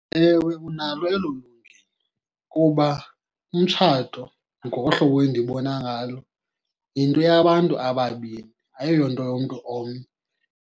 Ewe, unalo elo lungelo kuba umtshato ngokohlobo endibona ngalo yinto yabantu ababini, ayiyonto yomntu omnye.